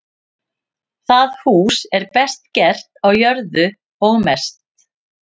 Það hús er best gert á jörðu og mest.